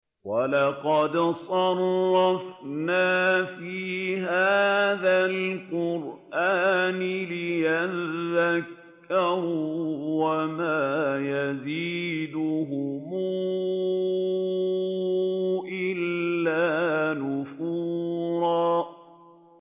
وَلَقَدْ صَرَّفْنَا فِي هَٰذَا الْقُرْآنِ لِيَذَّكَّرُوا وَمَا يَزِيدُهُمْ إِلَّا نُفُورًا